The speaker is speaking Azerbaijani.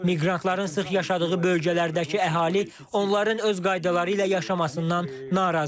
Miqrantların sıx yaşadığı bölgələrdəki əhali onların öz qaydaları ilə yaşamasından narazıdır.